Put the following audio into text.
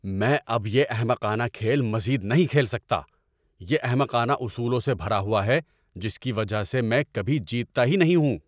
میں اب یہ احمقانہ کھیل مزید نہیں کھیل سکتا۔ یہ احمقانہ اصولوں سے بھرا ہوا ہے جس کی وجہ سے میں کبھی جیتتا ہی نہیں ہوں۔